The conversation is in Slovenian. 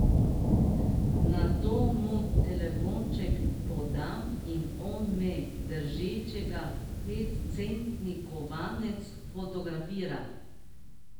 Nato mu telefonček podam in on me, držečega petcentni kovanec, fotografira.